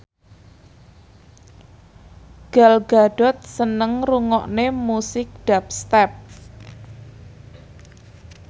Gal Gadot seneng ngrungokne musik dubstep